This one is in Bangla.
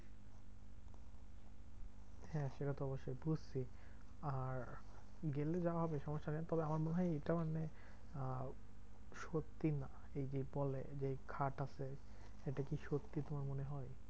হ্যাঁ সেটা তো অবশ্যই বুঝছি। আর গেলে যাওয়া হবে সবার সাথে তবে আমার মনে হয় এটা মানে আহ সত্যি না। এই যে বলে খাট আছে, এটা কি সত্যি তোমার মনে হয়?